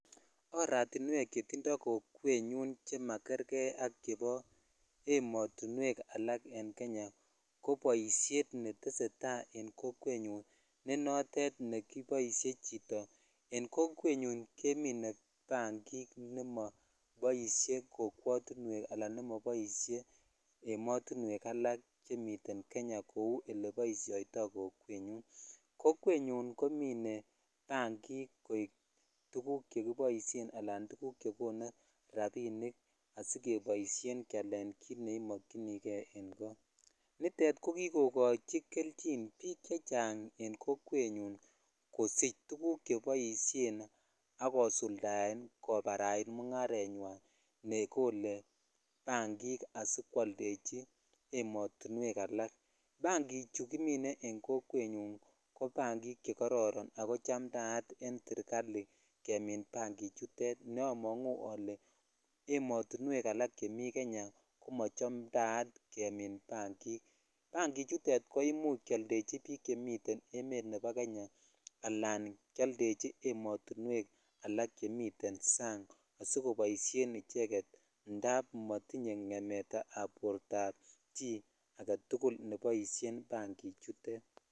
Oratiwek che magerkei ak ematuwek alak en Kenya ko boishet ko boishet netesetai en kokwetnyun ko notet neboishe chito en kokwet yun kemine bangik ne moorhen kokwetuwek ala ne mobile ematowek alak en Kenya kou oleboishoitoi kokwet nyun kokwenyun komine bangik koik tuguk chekiboishen anan tuguk chekonu rabinik asikeboishen kealen kit neimokyini jei en kot nitet ko kikokochi kelchin bik chechang en kokwet nyun kosich tuguk cheboishen ak kosuldae kobarait mungarenywan ne kole bangik asikwoldechi ematuwek alak bangik chu kimene en kokwet nyun ko bangik che kororon ako chamtaat en serikali jemin bangik chutet ne amongu ole ematuwek alak ko machamtaat bangik bangik chutet ko imuch keoldechi biik chemiten emet ab Kenya ala keoldechi ematuwek ak chemiten sang asikoboishen icheget amun motinye ngemet ab borto chi aketukul ne boishen bangik chutet.